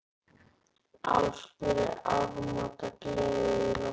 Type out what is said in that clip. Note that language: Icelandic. Ásgeir, er áramótagleði í loftinu?